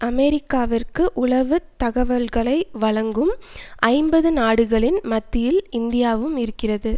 அமெரிக்காவிற்கு உளவு தகவல்களை வழங்கும் ஐம்பது நாடுகளின் மத்தியில் இந்தியாவும் இருக்கிறது